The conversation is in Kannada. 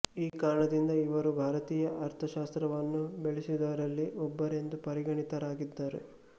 ಈ ಕಾರಣದಿಂದ ಇವರು ಭಾರತೀಯ ಅರ್ಥಶಾಸ್ತ್ರವನ್ನು ಬೆಳೆಸಿದವರಲ್ಲಿ ಒಬ್ಬರೆಂದು ಪರಿಗಣಿತರಾಗಿದ್ದಾರೆ